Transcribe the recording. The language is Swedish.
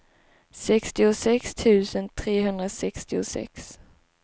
sextiosex tusen trehundrasextiosex